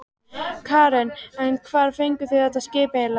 Karen: En hvar fenguð þið þetta skip eiginlega?